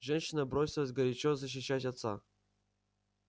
женщина бросилась горячо защищать отца